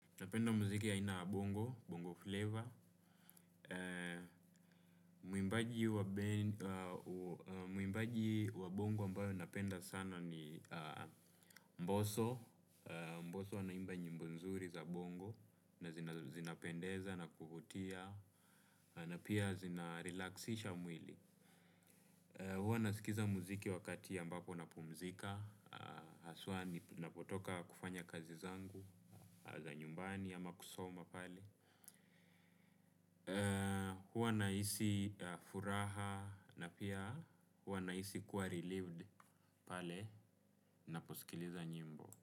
Napenda muziki ya aina ya bongo, bongo flavor. Mwimbaji wa bongo ambaye napenda sana ni mboso. Mboso anaimba nyimbo nzuri za bongo na zinapendeza na kuvutia na pia zinarelaxisha mwili. Huwa nasikiza muziki wakati ambapo napumzika. Haswa ninapotoka kufanya kazi zangu za nyumbani ama kusoma pale. Huwa nahisi furaha na pia huwa nahisi kuwa relieved pale naposikiliza nyimbo.